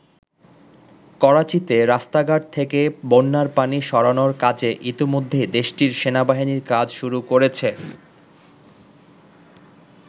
করাচীতে রাস্তাঘাট থেকে বন্যার পানি সরানোর কাজে ইতিমধ্যেই দেশটির সেনাবাহিনী কাজ শুরু করেছে।